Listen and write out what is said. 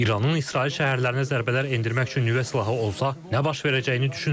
İranın İsrail şəhərlərinə zərbələr endirmək üçün nüvə silahı olsa, nə baş verəcəyini düşünün.